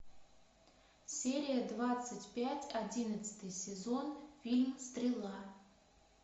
серия двадцать пять одиннадцатый сезон фильм стрела